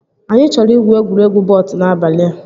Anyị chọrọ igwu egwuregwu wọt n'abalị a